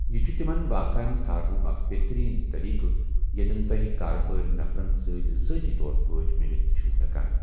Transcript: یہِ چھُ تِمَن واقعن ژھانُک اکھ بہترین طریقہٕ یَتٮ۪ن تُۄہہِ کارٕبٲرۍ نفرن سۭتۍ ذٲتی طور پٲٹھۍ مِلتھ چھِو ہیکان۔